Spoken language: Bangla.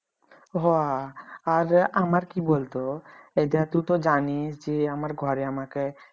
হ আর যে আমার কি বলতো এইডা টু তো জানিস যে আমার ঘরে আমাকে